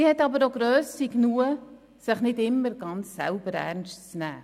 Sie hat auch Grösse genug, sich nicht immer selber ganz ernst zu nehmen.